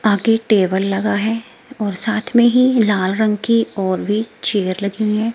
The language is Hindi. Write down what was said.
आगे टेबल लगा है और साथ में ही लाल रंग की और भी चेयर लगी है।